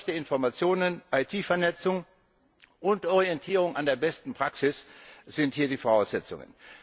Austausch der Informationen, IT Vernetzung und Orientierung an der besten Praxis sind hier die Voraussetzungen.